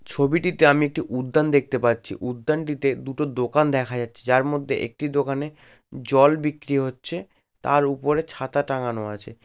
ছবিটিতে আমি একটি উদ্যান দেখতে পাচ্ছি। উদ্যানটিতে দুটো দোকান দেখা যাচ্ছে। যার মধ্যে একটি দোকানে জল বিক্রি হচ্ছে। তার উপরে ছাতা টাঙানো আছে।